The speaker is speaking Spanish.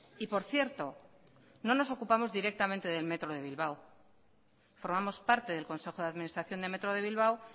y por cierto no nos ocupamos directamente del metro de bilbao formamos parte del consejo de administración de metro de bilbao